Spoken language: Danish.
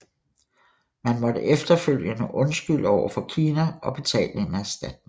Man måtte efterfølgende undskylde over for Kina og betale en erstatning